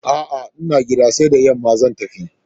A'a, ina gida, sai da yamma zan tafi.